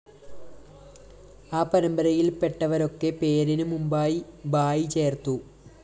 ആ പരമ്പരയില്‍പ്പെട്ടവരൊക്കെ പേരിനു മുമ്പായി ഭായി ചേര്‍ത്തു